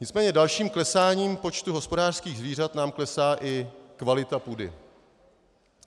Nicméně dalším klesáním počtu hospodářských zvířat nám klesá i kvalita půdy.